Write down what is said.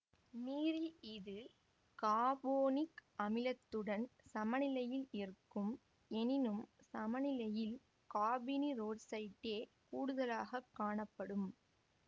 நீரில் இது காபோனிக் அமிலத்துடன் சமநிலையில் இருக்கும் எனினும் சமநிலையில் காபனீரொட்சைட்டே கூடுதலாக காணப்படும்